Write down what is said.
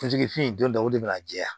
Furusiri fin don o de bina jɛya